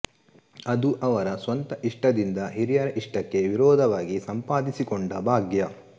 ಅದು ಅವರ ಸ್ವಂತ ಇಷ್ಟದಿಂದ ಹಿರಿಯರ ಇಷ್ಟಕ್ಕೆ ವಿರೋಧವಾಗಿ ಸಂಪಾದಿಸಿಕೊಂಡ ಭಾಗ್ಯ